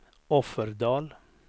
Offerdal